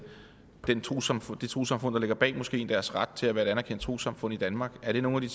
trossamfund det trossamfund der ligger bag moskeen deres ret til at være et anerkendt trossamfund i danmark er der nogle